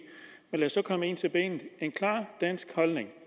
men lad os så komme ind til benet en klar dansk holdning